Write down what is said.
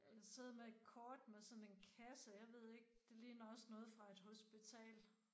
Ja jeg sidder med et kort med sådan en kasse jeg ved ikke det ligner også noget fra et hospital